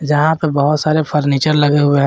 यहां पे बहुत सारे फर्नीचर लगे हुए हैं।